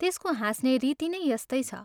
त्यसको हाँस्ने रीति नै यस्तै छ।